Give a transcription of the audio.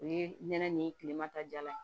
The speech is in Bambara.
O ye nɛnɛ nin ye kilema ta jalan ye